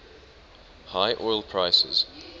high oil prices